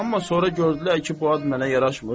Amma sonra gördülər ki, bu ad mənə yaraşmır.